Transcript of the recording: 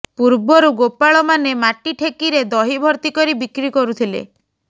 ପୂର୍ବରୁ ଗୋପାଳମାନେ ମାଟି ଠେକିରେ ଦହି ଭର୍ତ୍ତି କରି ବିକ୍ରି କରୁଥିଲେ